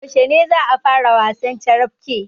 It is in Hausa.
Yaushe za a fara wasan carafke?